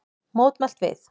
Mótmælt við